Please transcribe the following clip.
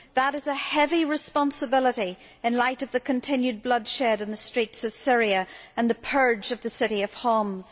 That is a heavy responsibility in light of the continued bloodshed on the streets of Syria and the purge of the city of Homs.